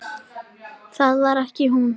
Það var ekki hún.